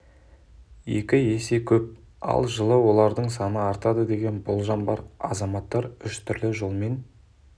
екі есе көп ал жылы олардың саны артады деген болжам бар азаматтар үш түрлі жолмен